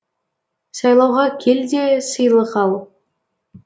сайлауға кел де сыйлық ал